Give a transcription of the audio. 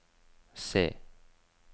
C